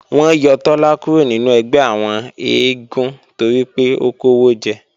Wọ́n yọ Tọ́lá kúrò nínú ẹgbẹ́ àwọn eégún toripé ó kówó jẹ